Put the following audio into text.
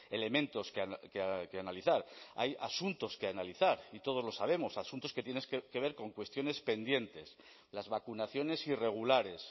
elementos que analizar hay asuntos que analizar y todos lo sabemos asuntos que tienen que ver con cuestiones pendientes las vacunaciones irregulares